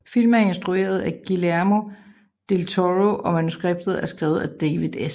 Filmen er instrueret af Guillermo del Toro og manuskriptet er skrevet af David S